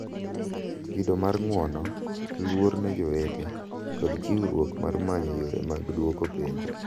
Kido mar ng'uono, luor ne jowete, kod chiwruok mar manyo yore mag duoko penjo